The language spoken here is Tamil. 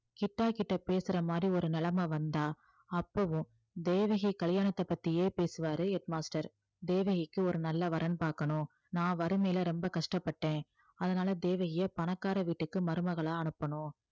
கிட்டா கிட்ட பேசுற மாதிரி ஒரு நிலைமை வந்தா அப்பவும் தேவகி கல்யாணத்தை பத்தியே பேசுவாரு head master தேவகிக்கு ஒரு நல்ல வரன் பாக்கணும் நான் வறுமையில ரொம்ப கஷ்டப்பட்டேன் அதனால தேவகிய பணக்கார வீட்டுக்கு மருமகளா அனுப்பணும்